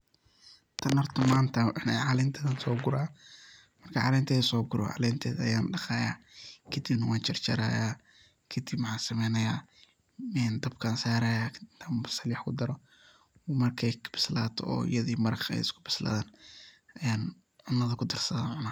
Taan horta manta calenta laso guuraya, marka calenteda so guuro, calenteeda ayaan daqaya, kadib naa waan jaarjaraya, ee kadib maxa samenaya dabka an saaraya, basaal iyo waax an kudaaro markey bislato, iyaada iyo maraqeda bisladan yaan cunadha kudharsada wa cuuna.